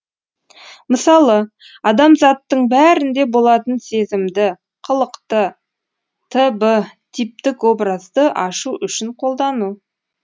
мысалы адамзаттың бәрінде болатын сезімді қылықты т б типтік образды ашу үшін қолдану